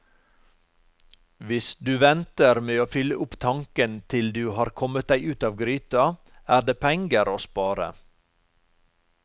Hvis du venter med å fylle opp tanken til du har kommet deg ut av gryta, er det penger å spare.